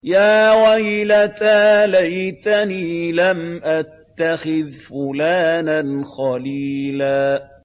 يَا وَيْلَتَىٰ لَيْتَنِي لَمْ أَتَّخِذْ فُلَانًا خَلِيلًا